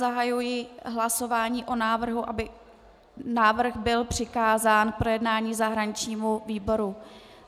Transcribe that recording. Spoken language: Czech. Zahajuji hlasování o návrhu, aby návrh byl přikázán k projednání zahraničnímu výboru.